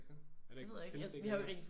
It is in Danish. Er der ikke det? Er der ikke findes det ikke mere?